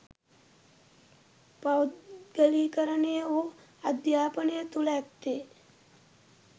පෞද්ගලීකරණය වූ අධ්‍යාපනය තුළ ඇත්තේ